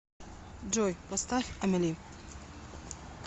джой поставь амели